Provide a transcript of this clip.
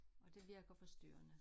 Og det virker forstyrrende